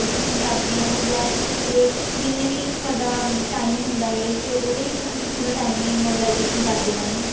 ਕਰਦੇ ਹੋ ਯਾ ਪੂਰੇ ਜਿੰਨੇ ਵੀ ਤੁਹਾਡਾ time ਹੁੰਦਾ ਹੈ ਤੇ ਉਹਦੇ ਵਿੱਚ ਤੁਸੀਂ ਪੂਰਾ time ਹੀ mobilization ਕਰਦੇ ਰਹਿੰਦੇ ਹੋ